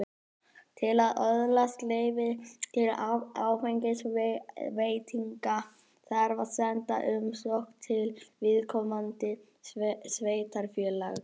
Til að öðlast leyfi til áfengisveitinga þarf að senda umsókn til viðkomandi sveitarfélags.